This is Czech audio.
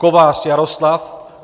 Kovář Jaroslav